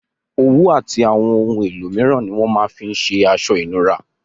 Òwú àti àwon oun elo míràn ni wón ma fin se aso ìnura